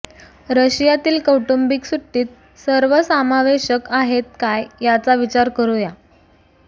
रशियातील कौटुंबिक सुट्टीत सर्व समावेशक आहेत काय याचा विचार करू या